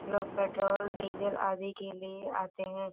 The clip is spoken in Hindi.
लोग पेट्रोल डीजल आदि के लिए आते है।